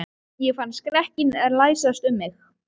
Ég fann skrekkinn læsast um mig.